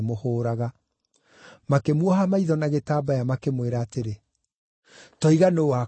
Makĩmuoha maitho na gĩtambaya makĩmwĩra atĩrĩ, “Toiga nũũ wakũgũtha.”